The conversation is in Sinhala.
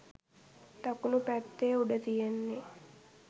දකුණු පැත්තේ උඩ තියෙන්නේ